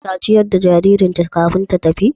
Ta ciyar da jaririnta kafin ta tafi?